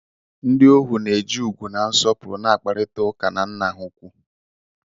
Ndị ohu na eji ugwu na nsopuru na-akparịta ụka na nna ha ukwu